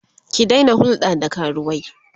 ki Daina hulɗa da karuwai!